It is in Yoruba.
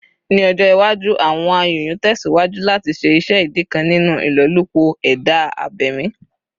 Ni ọjọ iwaju, awọn ayonyoo tẹsiwaju lati ṣe iṣẹ idi kan ninu ilolupo eda abemi